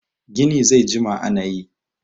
gini zai jima ana yi!